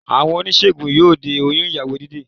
Àwọn oníṣègùn yóò de oyún ìyàwó Jídé